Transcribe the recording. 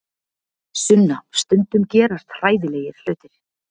Sunna, stundum gerast hræðilegir hlutir.